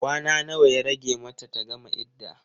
Kwana nawa ya rage mata ta gama idda?